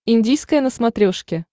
индийское на смотрешке